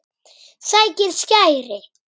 Sækir skæri.